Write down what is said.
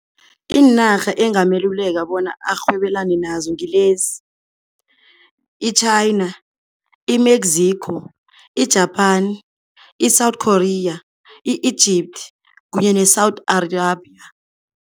Iinarha engameluleka bona arhwebelane nazo ngilezi, i-China, i-Mexico, i-Japan, i-South Korea, i-Egypt kunye ne-Saudi Arabia.